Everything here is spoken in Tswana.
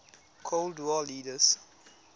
cold war leaders